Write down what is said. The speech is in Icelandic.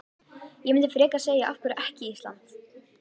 Ég myndi frekar segja af hverju ekki Ísland?